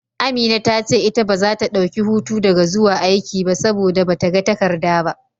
Amina ta ce ita baza ta dauki hutu daga zuwa aiki ba, saboda bata ga takarda ba.